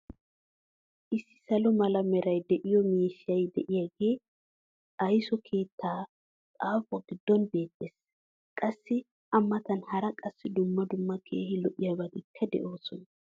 Issi saluwaa mala meray de'iyo miishshay diyaagee aysso keettaa xaafuwa giddon beetees. Qassi a matan hara qassi dumma dumma keehi lo'iyaabatikka de'oosona.